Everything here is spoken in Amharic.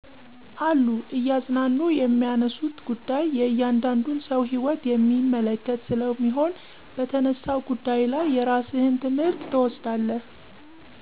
አሉ እያዝናኑ የሚያነሱት ጉዳይ የእያንዳንዱን ሰው ህይወት የሚመለከት ስለሚሆን በተነሳው ጉዳይ ላይ የራስህን ትምህርት ትወስዳለህ።